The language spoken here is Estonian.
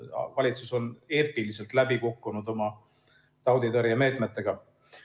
Valitsus on eepiliselt läbi kukkunud oma tauditõrjemeetmetega.